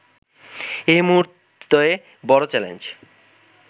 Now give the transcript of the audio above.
এ মুহূর্তে বড় চ্যালেঞ্জ